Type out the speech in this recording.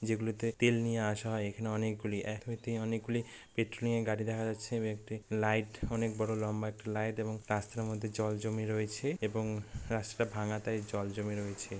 যেগুলোতে তেল নিয়ে আসা হয় এখানে অনেকগুলি এক হইতে অনেকগুলি পেট্রোলিঙ -এর গাড়ি দেখা যাচ্ছে এবং একটি লাইট অনেক বড় লম্বা একটা লাইট এবং রাস্তার মধ্যে জল জমে রয়েছে। এবং রাস্তাটা ভাঙা তাই জল জমে রয়েছে।